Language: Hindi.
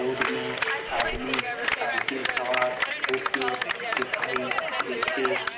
रोड में आदमी साईकल सवार होके दिखाई देते।